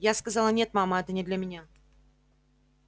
я сказала нет мама это не для меня